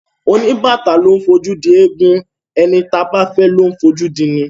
Oníbàtà ló ńfojú di ẹ̀gún; ẹni táa bá fẹ́ ló ńfojú dini.